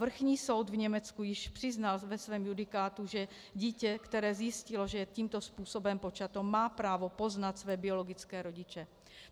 Vrchní soud v Německu již přiznal ve svém judikátu, že dítě, které zjistilo, že je tímto způsobem počato, má právo poznat své biologické rodiče.